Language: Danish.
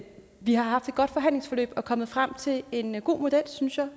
vi har haft et godt forhandlingsforløb og er kommet frem til en god synes jeg